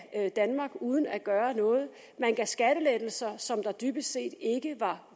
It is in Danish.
af danmark uden at gøre noget man gav skattelettelser som der dybest set ikke var